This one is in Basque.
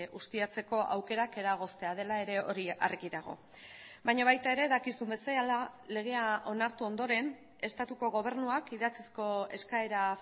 ustiatzeko aukerak eragoztea dela ere hori argi dago baina baita ere dakizun bezala legea onartu ondoren estatuko gobernuak idatzizko eskaera